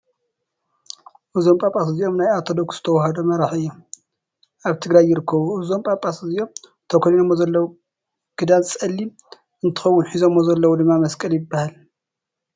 እዞም ጳጳስ እዚኦም ናይ ኦትርተዶክስ ተዋክዶ መራሒ ወይ እዮም ። ኣብ ትግራይ ይርከቡ። እዞም ጳጳስ እዚኦም ተከዲኖሞ ዘለወ ክዳን ፀሊም እንትከውን ሒዞሞ ዘለዉ ድማ መስቀል ይባሃል።